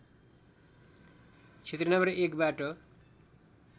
क्षेत्र नं १ बाट